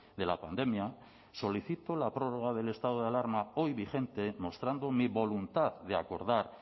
de la pandemia solicito la prórroga del estado de alarma hoy vigente mostrando mi voluntad de acordar